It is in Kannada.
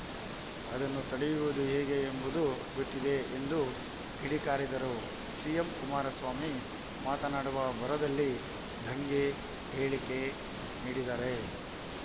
ಅದನ್ನು ತಡೆಯುವುದು ಹೇಗೆ ಎಂಬುದು ಗೊತ್ತಿದೆ ಎಂದು ಕಿಡಿಕಾರಿದರು ಸಿಎಂ ಕುಮಾರಸ್ವಾಮಿ ಮಾತನಾಡುವ ಭರದಲ್ಲಿ ದಂಗೆ ಹೇಳಿಕೆ ನೀಡಿದ್ದಾರೆ